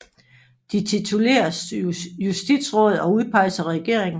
De tituleres justitsråd og udpeges af regeringen